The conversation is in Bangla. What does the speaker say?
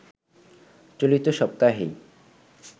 চলতি সপ্তাহেই